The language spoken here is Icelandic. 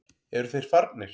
Eru þeir farnir?